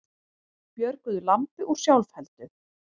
Björguðu lambi úr sjálfheldu